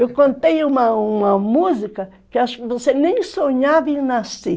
Eu contei uma uma música que acho que você nem sonhava em nascer.